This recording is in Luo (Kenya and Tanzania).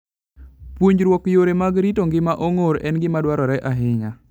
Puonjruok yore mag rito ngima ong'or en gima dwarore ahinya.